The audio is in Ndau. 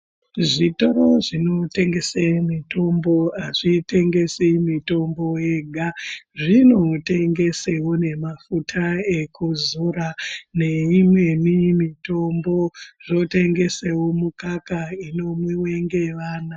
Zvitoro zvinotengese mitombo azvitengesi mitombo yega zvinotengesewo ngemafuta ekuzora neimweni mitombo , zvotengesewo mukaka inomwiwa ngevana.